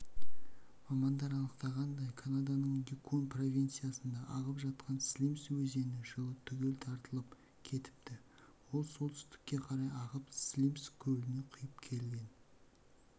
мамандар анықтағандай канаданың юкон провинциясында ағып жатқан слимс өзені жылы түгел тартылып кетіпті ол солтүстікке қарай ағып слимс көліне құйып келген